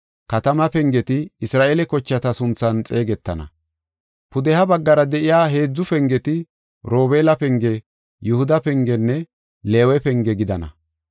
katamaa pengeti Isra7eele kochata sunthan xeegetana. Pudeha baggara de7iya heedzu pengeti Robeela penge, Yihuda pengenne Leewe penge gidana.